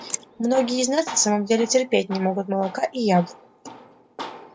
многие из нас на самом деле терпеть не могут молока и яблок